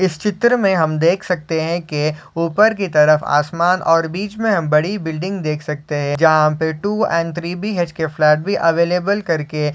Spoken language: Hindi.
इस चित्र मे हम देख सकते है की ऊपर कि तरफ आसमान और बीच मे हम बड़ी बिल्डिंग देख सकते है जहा पे two and three BHK flat भी अवेलेबल करके --.